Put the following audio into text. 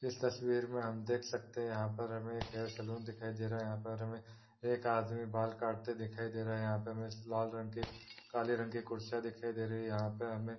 इस तस्वीर में हम देख सकते है यंहा पर हमे एक हेयर सलून दिखाई दे रहा है यंहा पर हमे एक आदमी बाल काटते दिखाई दे रहा है यंहा पर हमे लाल रंग की काले रंग की कुर्सियां दिखाई दे रही है। यंहा पे हमें --